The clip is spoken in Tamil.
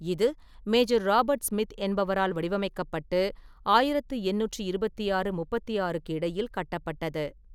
இது மேஜர் ராபர்ட் ஸ்மித் என்பவரால் வடிவமைக்கப்பட்டு ஆயிரத்து எண்ணூற்று இருபத்தி ஆறு - முப்பத்தி ஆறுக்கு இடையில் கட்டப்பட்டது.